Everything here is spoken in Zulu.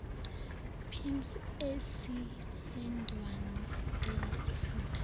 pims ezisendaweni eyisifunda